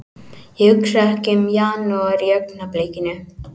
Ég hugsa ekki um janúar í augnablikinu.